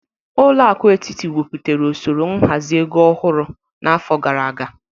Ụlọakụ etiti nwepụtara osoro nhazi ego ọhụrụ n'afọ gara aga.